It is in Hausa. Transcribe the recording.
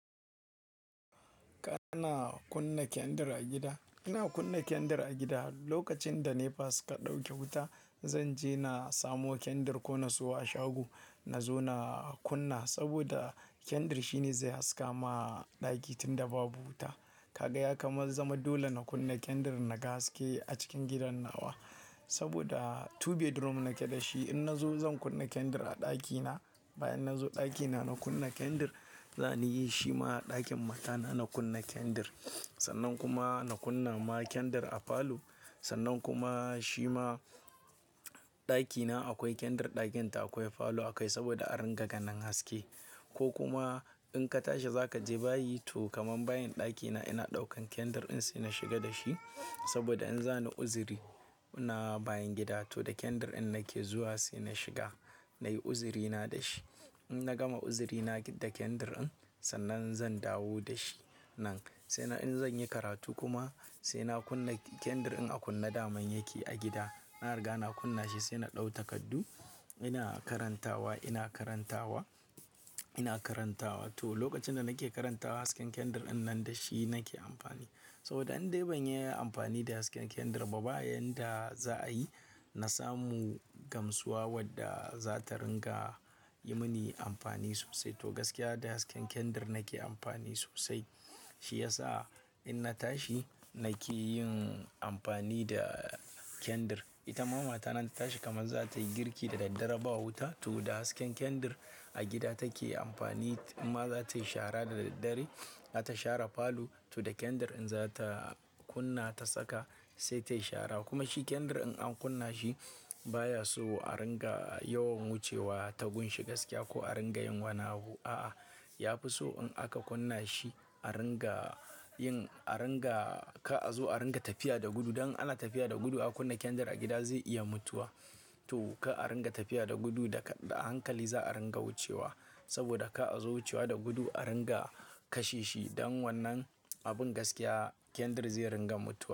Kana kunna kyandi a gida. Ina kunna kyandir a gida. Lokacin da NEPA suka ɗauke wuta, zanje na samo kyandir ko na siyo a shago, na zo na kunna saboda kyandr shine zai haskama ɗaki tunda babu wuta. Kaga ya kamal zama dole na kunna kyandir naga haske a cikin gidan nawa. Saboda two bedroom nake da shi. In nazo zan kunna kyandir a ɗakina, bayan nazo ɗakina na kunna kyandir, zan yi shi ma a ɗakin matana na kunna kyandir Sannan kuma na kunna ma kyandr a falo, sannan kuma shi ma ɗakina akwai kyndir ɗakinta akwai, falo akwai saboda a ringa ganin haske. Ko kuma in ka tashi zaka je bayi to kaman bayin ɗakina ina ɗaukan kyndir in sai na shiga da shi saboda in za na uzuri na bayin gida to da kyandir in nake zuwa sai na shiga nayi uzuri na da shi. Inna gama uzirina da kyandir sannan zan dawo dashi sai in zanyi karatu kuma sai na kunna kyandir in a kunna daman yake a gida. Na riga na kunna shi sai na ɗau takardu. Ina karantawa, ina karantawa, ina karantawa to lokacin da nake karantawa hasken kyandir in nan da shi nake amfani. Saboda an dai ban yi amfani da hasken kyandir ba bayan da za'a yi, na samu gamsuwa wadda za ta ringa yi mini amfani sosai. To gaskiya da hasken kandar nake amfani sosai. Shi yasa in na tashi nake yin amfani da kyandir. Ita mama ta nan ta tashi kamar za ta yi girki da daddare ba wuta to da hasken kyandir a gida take amfani. In ma za ta yi shara da daddare, za ta shara falo to da kyandir in za ta kunna ta saka sai tayi shara. Kuma shi kyandir in an kunna shi baya so a ringa yawan wucewa ta gunshi gaskiya ko a ringa yin wana abu. A'a, ya fi so in aka kunna shi a ringa yin, a ringa ka zo a ringa tafiya da gudu. Dan ala tafiya da gudu a kunna kyandir a gida zai iya mutuwa. To ka ringa tafiya da gudu da, da hankali za a ringa wucewa saboda ka zo wucewa da gudu a ringa kashe shi. Dan wannan abin gaskiya kyandir zai ringa mutuwa.